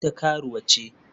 Ita karuwa ce?